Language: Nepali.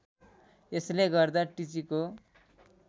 यसले गर्दा टिचीको